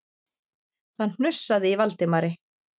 Það hnussaði í Valdimari.